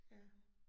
Ja